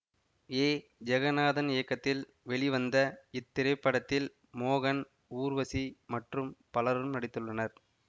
ஏ ஜெகநாதன் இயக்கத்தில் வெளிவந்த இத்திரைப்படத்தில் மோகன் ஊர்வசி மற்றும் பலரும் நடித்துள்ளனர்